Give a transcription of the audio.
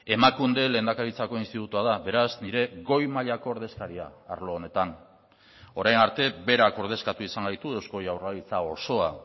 emakunde lehendakaritzako institutua da beraz nire goi mailako ordezkaria arlo honetan orain arte berak ordezkatu izan gaitu eusko jaurlaritza osoa